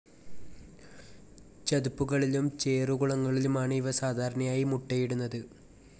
ചതുപ്പുകളിലും ചേറു കുളങ്ങളിലുമാണ് ഇവ സാധാരണയായി മുട്ടയിടുന്നത്.